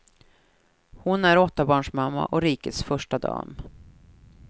Hon är åttabarnsmamma och rikets första dam.